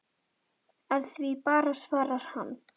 Af því bara svarar hann.